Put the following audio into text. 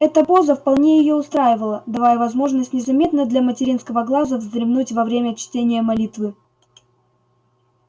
эта поза вполне её устраивала давая возможность незаметно для материнского глаза вздремнуть во время чтения молитвы